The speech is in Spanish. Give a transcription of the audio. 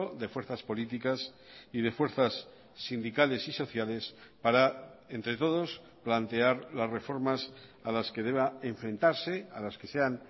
de fuerzas políticas y de fuerzas sindicales y sociales para entre todos plantear las reformas a las que deba enfrentarse a las que sean